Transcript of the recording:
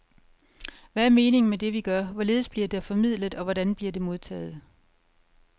Hvad er meningen med det vi gør, hvorledes bliver der formidlet og hvordan bliver det modtaget?